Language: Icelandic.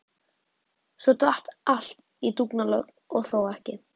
Svo datt allt í dúnalogn og þó ekki.